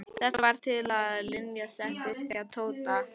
Þetta varð til þess að Linja settist að hjá Tóta.